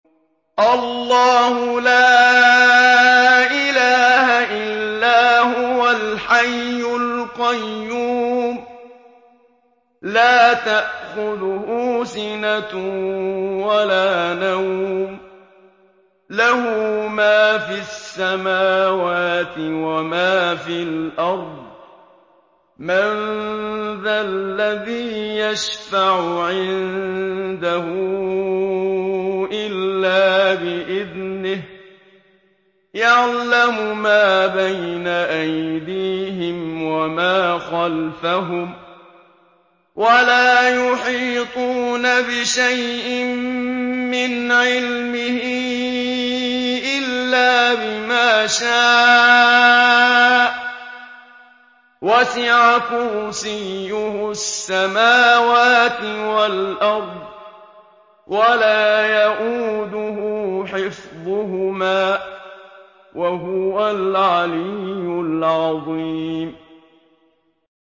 اللَّهُ لَا إِلَٰهَ إِلَّا هُوَ الْحَيُّ الْقَيُّومُ ۚ لَا تَأْخُذُهُ سِنَةٌ وَلَا نَوْمٌ ۚ لَّهُ مَا فِي السَّمَاوَاتِ وَمَا فِي الْأَرْضِ ۗ مَن ذَا الَّذِي يَشْفَعُ عِندَهُ إِلَّا بِإِذْنِهِ ۚ يَعْلَمُ مَا بَيْنَ أَيْدِيهِمْ وَمَا خَلْفَهُمْ ۖ وَلَا يُحِيطُونَ بِشَيْءٍ مِّنْ عِلْمِهِ إِلَّا بِمَا شَاءَ ۚ وَسِعَ كُرْسِيُّهُ السَّمَاوَاتِ وَالْأَرْضَ ۖ وَلَا يَئُودُهُ حِفْظُهُمَا ۚ وَهُوَ الْعَلِيُّ الْعَظِيمُ